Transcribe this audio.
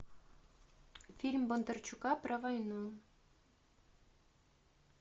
фильм бондарчука про войну